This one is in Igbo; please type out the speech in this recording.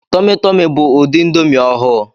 Tọmi Tọmi' bu ụdị índomi ọhụụ.